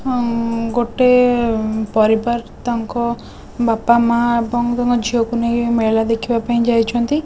ହମ ଗୋଟେ ପରିବାର ତାଙ୍କ ବାପା ମାଆ ଏବଂ ତାଙ୍କ ଝିଅ କୁ ନେଇ ମେଳା ଦେଖିବାପାଇଁ ଯାଇଛନ୍ତି।